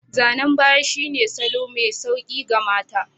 Zanen ɓaya shine salo mai sauƙi ga mata.